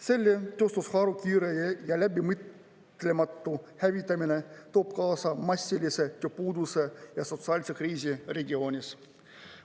Selle tööstusharu kiire ja läbimõtlematu hävitamine toob kaasa massilise tööpuuduse ja sotsiaalse kriisi regioonis.